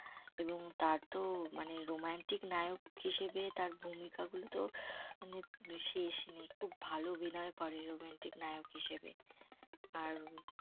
এবং তা তো মানে romantic নায়ক হিসেবে তার ভূমিকা গুলো তো আহ মানে শেষ নেই। খুব ভালো অভিনয় করে romantic নায়ক হিসেবে আর